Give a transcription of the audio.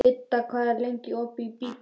Idda, hvað er lengi opið í Byko?